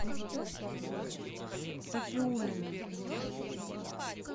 сафиуллину